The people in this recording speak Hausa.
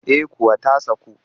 Eh kuwa ta saku